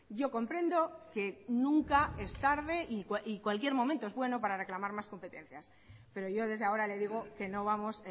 yo comprendo que nunca es tarde y cualquier momento es bueno para reclamar más competencias pero yo desde ahora le digo que no vamos